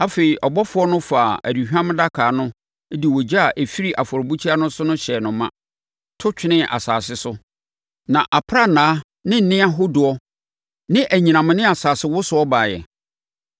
Afei, ɔbɔfoɔ no faa aduhwam adaka no de ogya a ɛfiri afɔrebukyia no so hyɛɛ no ma, to twenee asase so. Na aprannaa ne nne ahodoɔ ne anyinam ne asasewosoɔ baeɛ.